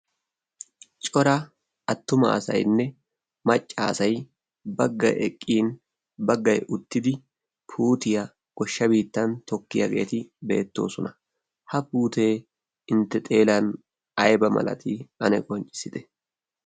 cora attumaasainne maccaasai baggai eqqin baggai uttidi putiyaa goshshabittan tokkiyaageeti beettoosona. ha puutee intte xeelan aiba malati ane qonccissite?